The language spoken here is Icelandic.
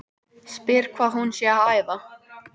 Tunglið er fullt um það bil einu sinni í hverjum almanaksmánuði.